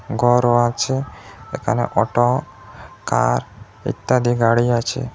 গরও আছে এখানে auto car ইত্যাদি গাড়ি আছে।